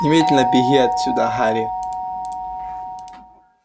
немедленно беги отсюда гарри